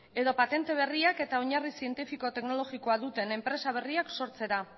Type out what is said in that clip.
edo patente berriak eta oinarri zientifiko teknologikoa duten enpresa berriak sortzera